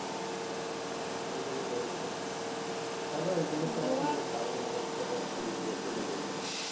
ওগুলো রয়েছে তবে ওগুলোতে time অনেকটাই বেশি লেগে যাবে,